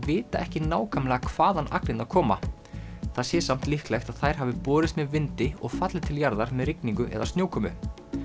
vita ekki nákvæmlega hvaðan koma það sé samt líklegt að þær hafi borist með vindi og fallið til jarðar með rigningu eða snjókomu